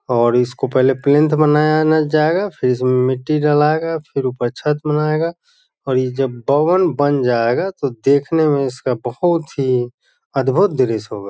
और इसको पहेले प्लेंथ बनाया ना जायेगा फिर इसमें मिट्टी डालाएगा फिर ऊपर छत बनाएगा और ये जब भवन बन जायेगा तो देखने में इसका बहुत ही अदभुत दृश्य होगा।